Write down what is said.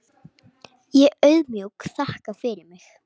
Ég auðmjúk þakka fyrir mig.